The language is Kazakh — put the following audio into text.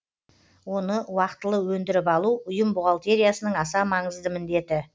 оны уақтылы өндіріп алу ұйым бухгалтериясының аса маңызды міндеті